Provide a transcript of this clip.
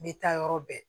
N bɛ taa yɔrɔ bɛɛ